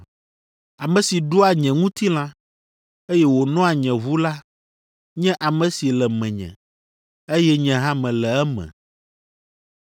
Ame si ɖua nye ŋutilã, eye wònoa nye ʋu la nye ame si le menye, eye nye hã mele eme.